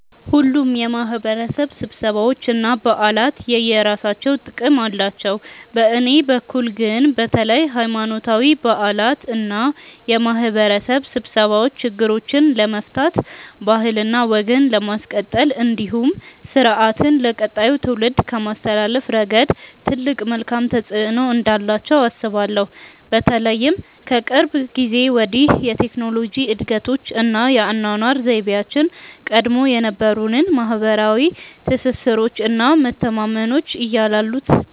ሁሉም የማህበረሰብ ስብሰባዎች እና በዓላት የየራሳቸው ጥቅም አላቸው። በእኔ በኩል ግን በተለይ ሀይማኖታዊ በዓላት እና የማህበረሰብ ስብሰባዎች ችግሮችን ለመፍታት ባህልና ወግን ለማስቀጠል እንዲሁም ስርአትን ለቀጣዩ ትውልድ ከማስተላለፍ ረገድ ትልቅ መልካም ተፆዕኖ እንዳላቸው አስባለሁ። በተለይም ከቅርብ ጊዜ ወዲህ የቴክኖሎጂ እድገቶች እና የአኗኗር ዘይቤያችን ቀድሞ የነበሩንን ማህበረሰባዊ ትስስሮች እና መተማመኖች እያላሉት